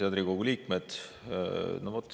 Head Riigikogu liikmed!